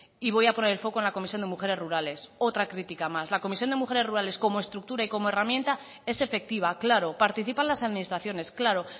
y voy a poner el foco en la comisión de mujeres rurales otra crítica más la comisión de mujeres rurales como estructura y como herramienta es efectiva claro participan las administraciones claro